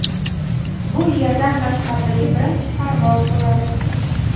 Bu Yerdan tashqaridagi birinchi parvoz bo‘ladi.